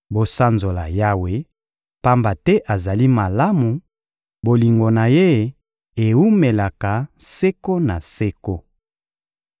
Bosanzola Yawe, pamba te azali malamu, bolingo na Ye ewumelaka seko na seko.